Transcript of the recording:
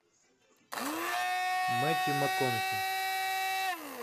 мэттью макконахи